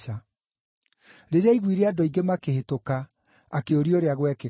Rĩrĩa aiguire andũ aingĩ makĩhĩtũka, akĩũria ũrĩa gwekĩkaga.